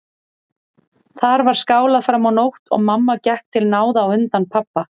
Þar var skálað fram á nótt og mamma gekk til náða á undan pabba.